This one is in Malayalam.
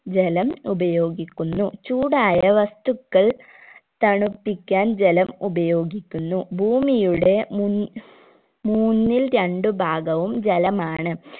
ജലം ഉപയോഗിക്കുന്നു ചൂടായ വസ്തുക്കൾ തണുപ്പിക്കാൻ ജലം ഉപയോഗിക്കുന്നു ഭൂമിയുടെ മുൻ മൂന്നിൽ രണ്ട് ഭാഗവും ജലമാണ്